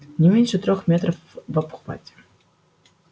не меньше трёх метров в обхвате